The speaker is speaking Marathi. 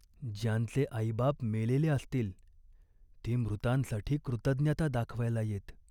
ज्यांचे आईबाप मेलेले असतील ते मृतांसाठी कृतज्ञता दाखवायला येत.